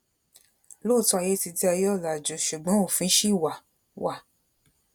lóòótọ ayé ti di ayé ọlàjú ṣùgbọn òfin ṣì wà wà